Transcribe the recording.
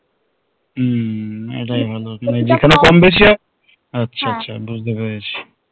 হম এটাই হলো মানে যেখানে কম বেশি হবে আচ্ছা আচ্ছা বুঝতে পেরেছি তুই